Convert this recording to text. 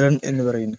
run എന്ന് പറയുന്നു